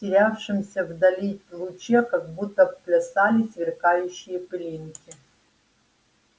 в терявшемся вдали луче как будто плясали сверкающие пылинки